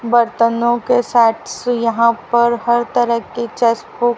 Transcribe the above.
बर्तनों के सेट्स यहां पर हर तरह के चस्पू--